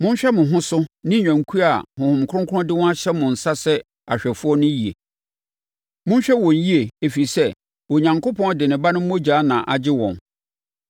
Monhwɛ mo ho so ne nnwankuo a Honhom Kronkron de wɔn ahyɛ mo nsa sɛ ahwɛfoɔ no yie. Monhwɛ wɔn yie, ɛfiri sɛ, Onyankopɔn de ne Ba no mogya na agye wɔn.